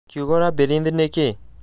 kiugo labyrinth nĩ kĩĩ